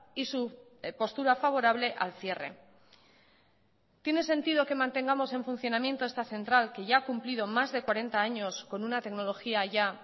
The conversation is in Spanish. y su postura favorable al cierre tiene sentido que mantengamos en funcionamiento esta central que ya ha cumplido más de cuarenta años con una tecnología ya